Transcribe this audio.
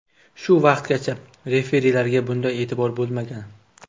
Shu vaqtgacha referilarga bunday e’tibor bo‘lmagan.